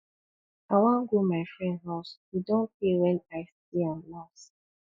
i wan go my friend house e don tey wen i see am last